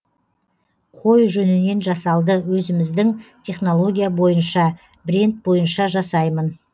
қой жүнінен жасалды өзіміздің технология бойынша бренд бойынша жасаймын